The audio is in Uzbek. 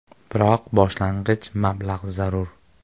Biroq boshlang‘ich mablag‘ zarur.